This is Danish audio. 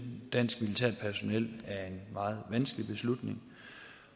dansk militært personel er en meget vanskelig beslutning